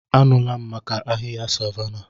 Anụla m maka ahịhịa savanna.